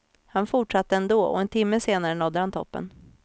Han fortsatte ändå och en timme senare nådde han toppen.